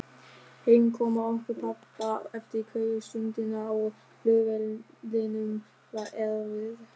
Heimkoma okkar pabba eftir kveðjustundina á flugvellinum var erfið.